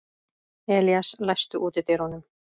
Elías, læstu útidyrunum.